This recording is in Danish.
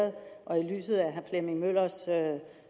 lyset af og herre flemming møllers